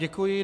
Děkuji.